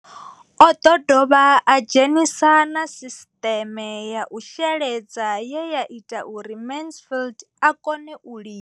O ḓo dovha a dzhenisa na sisiṱeme ya u sheledza ye ya ita uri Mansfied a kone u lima.